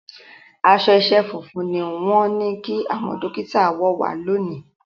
Aṣọ iṣẹ́ funfun ni wọ́n ní kí àwọn Dókítà wọ̀ wá lónìí